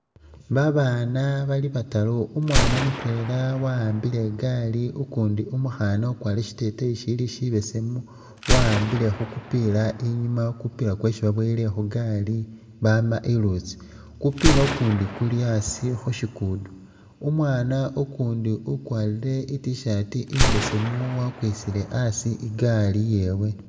Babaana bali bataru, umwaana mutwela wawambile i'gali ukundi umukhaana ukwalire shiteteyi shili shibesemu wawambile khukupila i'nyuma mupila kwesi babowele khundulo gali bama ilutsi, kupila ukundi Kuli a'asi khushigudo, umwaana ukundi ukwalire i't-shirt imbesemu wakwisile a'asi i'gali yewe